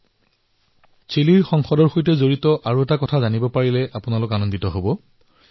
অৱশ্যে চিলিৰ সংসদৰ সৈতে জড়িত আন এটা কথাও আপোনালোকে ভাল পাব